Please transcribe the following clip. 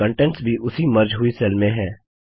और कन्टेंट्स भी उसी मर्ज हुई सेल में हैं